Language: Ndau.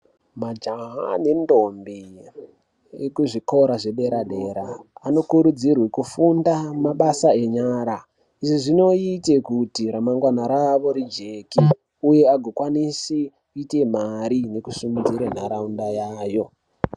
Majaha nendombi ekuzvikora zvedera dera anokurudzirwa kufunda mabasa enyara izvi zvinoitirwe kuti remangwana ravo rijeke uye agokwanisa kuiite mari nekusimudzire nharaunda yayo.